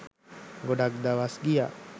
ගොඩක් දවස් ගියා.